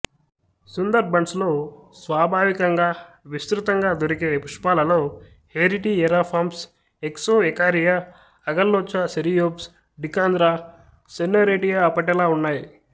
సుందర్బన్స్ లో స్వాభావికంగా విస్తృతంగా దొరికే పుష్పాలలో Heritiera fomes Excoecaria agallocha Ceriops decandra Sonneratia apetala ఉన్నాయి